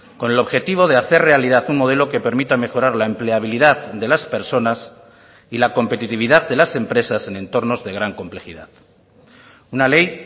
con el objetivo de hacer realidad un modelo que permita mejorar la empleabilidad de las personas y la competitividad de las empresas en entornos de gran complejidad una ley